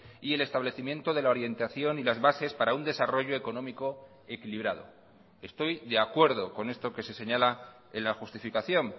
y el establecimiento de la orientación y las bases para un desarrollo económico equilibrado estoy de acuerdo con esto que se señala en la justificación